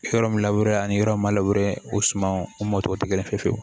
Yɔrɔ min laburereni yɔrɔ min ma o suman o mɔ tɔw te kelen